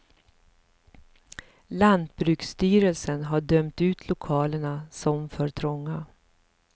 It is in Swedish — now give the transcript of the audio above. Lantbruksstyrelsen har dömt ut lokalerna som för trånga.